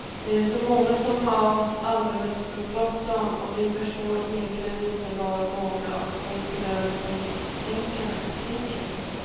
Det är så många som har alldeles för bråttom och vi förstår egentligen inte vad några av konkurrenterna tänker på.